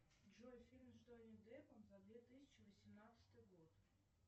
джой фильм с джонни деппом за две тысячи восемнадцатый год